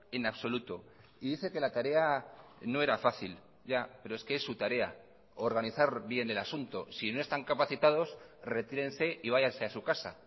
en absoluto y dice que la tarea no era fácil ya pero es que es su tarea organizar bien el asunto si no están capacitados retírense y váyanse a su casa